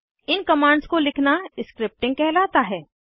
इन commands को लिखना scripting कहलाता है